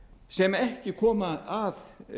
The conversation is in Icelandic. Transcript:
sem ekki koma að